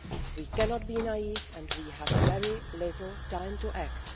We cannot be naive and we have very little time to act.